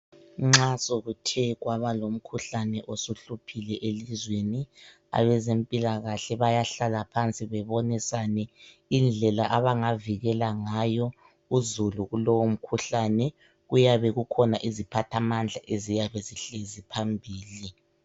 Nxa sokuthe kwaba lomkhuhlane osuhluphile elizweni, abezempilakahle bayahlala phansi bebonisane indlela abangavikela ngayo uzulu kulowo mkhuhlane, kuyabe kukhona iziphathamandla eziyabe zihlezi phambili.